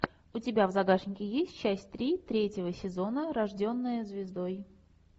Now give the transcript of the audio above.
у тебя в загашнике есть часть три третьего сезона рожденная звездой